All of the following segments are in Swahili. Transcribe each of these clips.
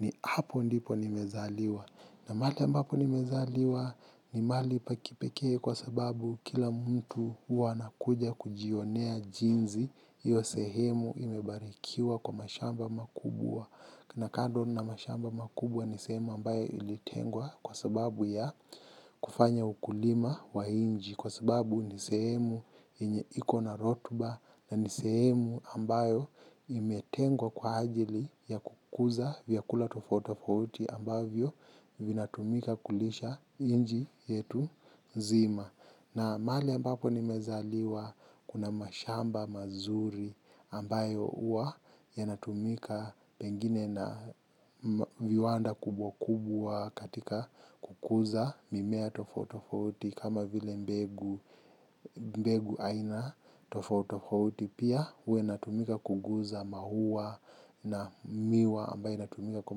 ni hapo ndipo nimezaliwa. Na mahali ambapo nimezaliwa ni mahali pakipekee kwa sababu kila mtu huwa anakuja kujionea jinzi. Iyo sehemu imebarikiwa kwa mashamba makubwa. Na kando na mashamba makubwa ni sehemu ambayo ilitengwa kwa sababu ya kufanya ukulima wa nchi. Kwa sababu ni sehemu yenye ikona rotuba na ni sehemu ambayo imetengwa kwa ajili ya kukuza vyakula tufauti tafauti ambayo vinatumika kulisha inchi yetu zima. Na mahali ambapo nimezaliwa kuna mashamba mazuri ambayo huwa yanatumika pengine na viwanda kubwa kubwa katika kukuza mimea tofauti tofauti kama vile mbegu aina tofauti tofauti pia huwa inatumika kuguza maua na miwa ambayo inatumika kwa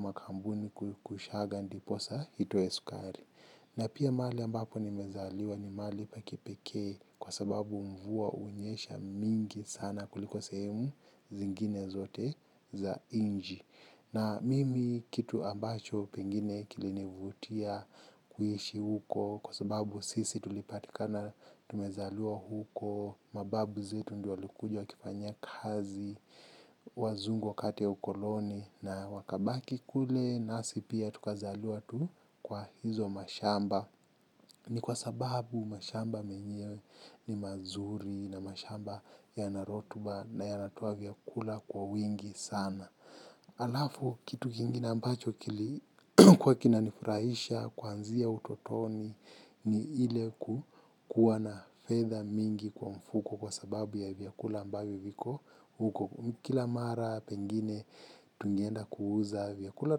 makampuni kushaga ndiposa hitoe sukari. Na pia mahali ambapo nimezaliwa ni mahali pa kipekee kwa sababu mvua hunyesha mingi sana kuliko sehemu zingine zote za inchi. Na mimi kitu ambacho pengine kilinivutia kuhishi huko kwa sababu sisi tulipatikana tumezaliwa huko. Mababu zetu ndio walikuja wakifanyia kazi, wazungu wakati wa ukoloni na wakabaki kule nasi pia tukazaliwa tu kwa hizo mashamba. Ni kwa sababu mashamba menyewe ni mazuri na mashamba yana rotuba na yanatuoa vyakula kwa wingi sana. Alafu kitu kingine ambacho kili kuwa kina nifurahisha kuanzia utotoni ni ile ku kuwa na fedha mingi kwa mfuko kwa sababu ya vyakula ambavyo viko huko. Kila mara pengine tungeenda kuuza vyakula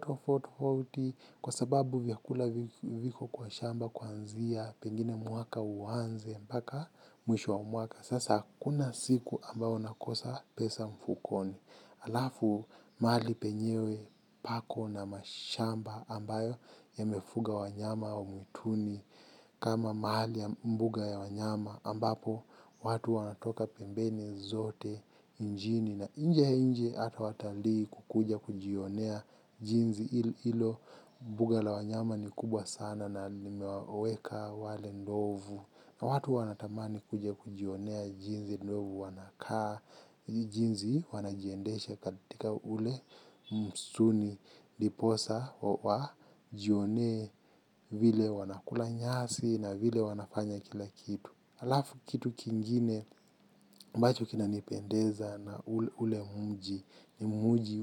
tofauti tofauti kwa sababu vyakula viko kwa shamba kuanzia pengine mwaka uwanze mbaka mwisho wa mwaka. Sasa hakuna siku ambao unakosa pesa mfukoni. Alafu mahali penyewe pako na mashamba ambayo yamefuga wanyama wa mwituni kama mahali ya mbuga ya wanyama ambapo watu wanatoka pembeni zote nchini na inje inchi hata watalii kukuja kujionea jinzi hilo mbuga la wanyama ni kubwa sana na limewaweka wale ndovu. Watu wanatamani kuja kujionea jinzi ndovu wanakaa, jinzi wanajiendeshe katika ule mstuni ndiposa wajionee vile wanakula nyasi na vile wanafanya kila kitu. Alafu kitu kingine ambacho kina nipendeza na ule muji ni muji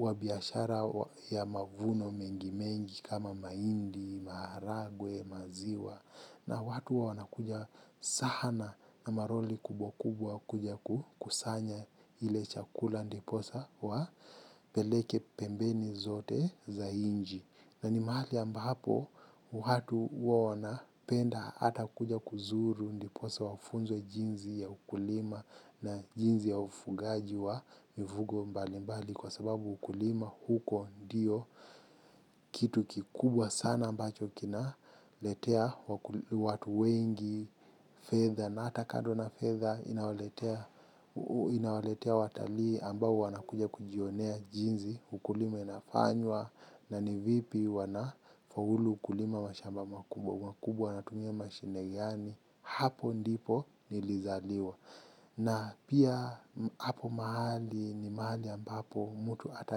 wa biashara ya mavuno mengi mengi kama mahindi, maharagwe, maziwa. Na watu huwa wanakuja sana na maroli kubwa kubwa kuja kusanya ile chakula ndiposa wapeleke pembeni zote za inchi. Na ni mahali ambapo watu huwa wanapenda hata kuja kuzuru ndiposa wafunzwe jinzi ya ukulima na jinzi ya ufugaji wa mivugo mbali mbali kwa sababu ukulima huko ndio kitu kikubwa sana ambacho kinaletea watu wengi fedha na hata kando na fedha inawaletea watalii ambao wanakuja kujionea jinzi ukulima inafanywa. Na ni vipi wanafaulu kulima mashamba makubwa. Makubwa wanatumia mashine gani hapo ndipo nilizaliwa. Na pia hapo mahali ni mahali ambapo mtu ata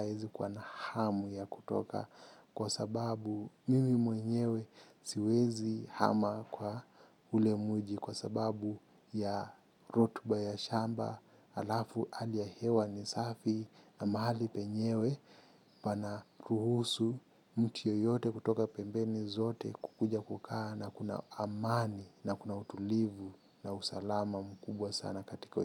aezi kuwa na hamu ya kutoka. Kwa sababu mimi mwenyewe siwezi hama kwa ule muji kwa sababu ya rotuba ya shamba alafu hali ya hewa ni safi na mahali penyewe pana ruhusu mtu yoyote kutoka pembeni zote kukuja kukaa na kuna amani na kuna utulivu na usalama mkubwa sana katika.